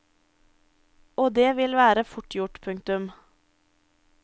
Og det vil være fort gjort. punktum